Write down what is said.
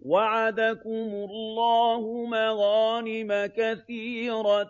وَعَدَكُمُ اللَّهُ مَغَانِمَ كَثِيرَةً